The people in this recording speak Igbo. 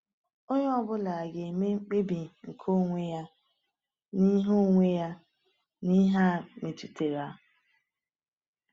Onye ọ bụla ga-eme mkpebi nke onwe ya n’ihe onwe ya n’ihe a metụtara.